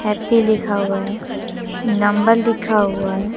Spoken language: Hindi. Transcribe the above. हैप्पी लिखा हुआ है नंबर लिखा हुआ है।